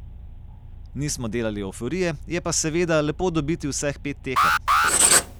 Nismo delali evforije, je pa seveda lepo dobiti vseh pet tekem.